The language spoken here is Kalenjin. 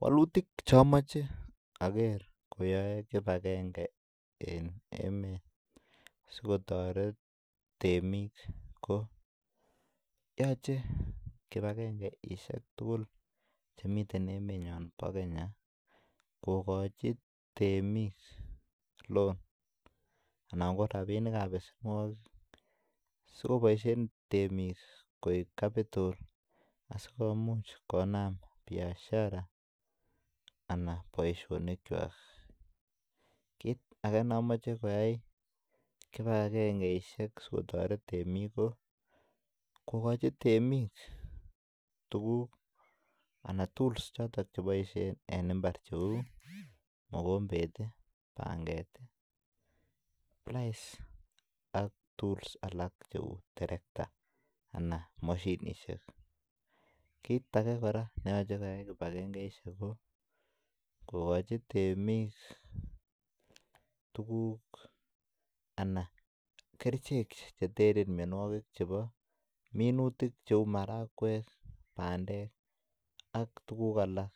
Wolutik Che amache ager koyoe kibagenge asi kotoret temik koyoche kibagengesiek tugul Che miten emenyon bo Kenya kogochi loan anan ko rabinik ab besenwogik asi koboisien temik koik kapitol asikobit komuch konam Biashara anan boisionik kwak kit age ne amoche koyai kibagengesiek si kotoret temik ko kogochi temik tuguk choton Che boisien en mbar Cheu mokombet , panget, plais ak tuls alak cheu terekta anan mashinisiek kit age kora ne yoche koyai kibagengesiek kogochi temik tuguk anan kerichek Che teren mianwogik chebo minutik cheu marakwek bandek ak tuguk alak